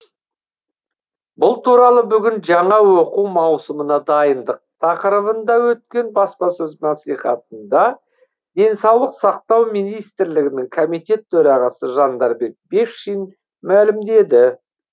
бұл туралы бүгін жаңа оқу маусымына дайындық тақырыбында өткен баспасөз мәслихатында денсаулық сақтау министрлігінің комитет төрағасы жандарбек бекшин мәлімдеді